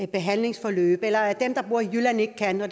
behandlingsforløb eller at dem der bor i jylland ikke kan være